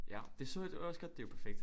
Ja det så jeg også godt det er jo perfekt